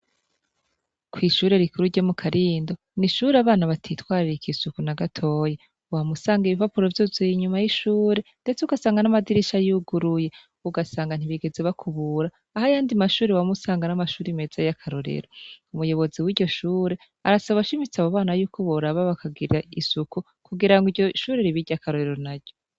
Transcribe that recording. Kw'ishure rikuru ryo mu Karindo, ni ishure abana batitwaratika isuku na gatoyi. Wama usanga ibipapuro vyuzuye inyuma y'ishuri, ndetse ugasanga n'amadirisha yuguruye. Ugasanga ntibigeze bakubura, aho ayandi mashure wama usanga ari amashuri meza y'akarorero. Umuyobozi w'iryo shure, arasaba ashimitse abo bana yuko boraba bakagira isuku, kugira ngo iryo shure ribe iry'akarorero naryo.